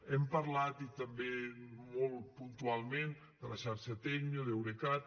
hem parlat i també molt puntualment de la xarxa tecnio d’eurecat